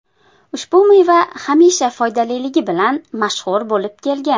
Ushbu meva hamisha foydaliligi bilan mashhur bo‘lib kelgan.